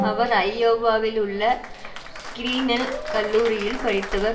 அவர் ஐயோவாவிலுள்ள கிரீநெல் கல்லூரியில் படித்தவர்